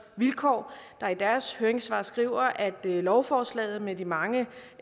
vilkår der i deres høringssvar skriver at lovforslaget med de mange